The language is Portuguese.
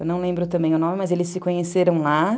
Eu não lembro também o nome, mas eles se conheceram lá.